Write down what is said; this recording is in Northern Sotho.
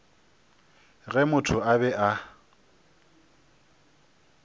ge motho a be a